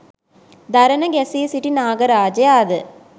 දරන ගැසී සිටි නාග රාජයා ද